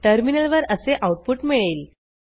टर्मिनलवर असे आऊटपुट मिळेल